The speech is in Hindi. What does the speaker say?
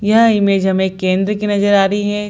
यह इमेज हमें केंद्र की नजर आ रही है।